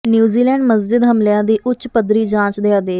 New Zealand ਮਸਜਿਦ ਹਮਲਿਆਂ ਦੀ ਉੱਚ ਪੱਧਰੀ ਜਾਂਚ ਦੇ ਆਦੇਸ਼